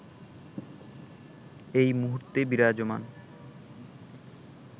এই মুহূর্তে বিরাজমান